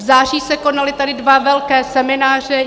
V září se tady konaly dva velké semináře.